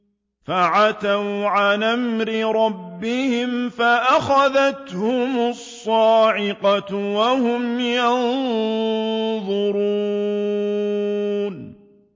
فَعَتَوْا عَنْ أَمْرِ رَبِّهِمْ فَأَخَذَتْهُمُ الصَّاعِقَةُ وَهُمْ يَنظُرُونَ